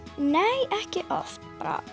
nei ekki oft